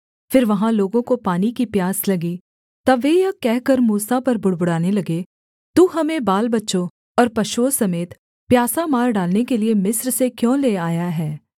फिर वहाँ लोगों को पानी की प्यास लगी तब वे यह कहकर मूसा पर बुड़बुड़ाने लगे तू हमें बालबच्चों और पशुओं समेत प्यासा मार डालने के लिये मिस्र से क्यों ले आया है